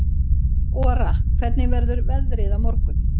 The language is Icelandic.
Ora, hvernig verður veðrið á morgun?